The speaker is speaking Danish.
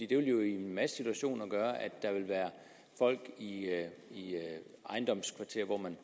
det vil jo i en masse situationer gøre at der vil være folk i ejendomskvarterer hvor man